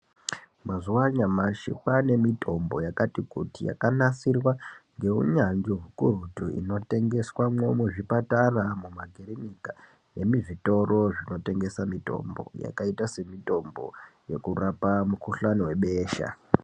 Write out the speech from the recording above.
Mazuwa anyamashi kwane mitombo yakanasirwa neunyanzvi ukurutu inotengeswa muzvipatara, mumakirinika nemuzvitoro zvinotengeswa mitombo yakaita semitombo yekurape mikhuhlane webesha.